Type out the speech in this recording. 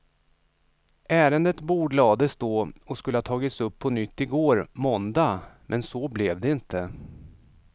Ärendet bordlades då och skulle ha tagits upp på nytt igår, måndag, men så blev det inte.